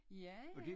Ja ja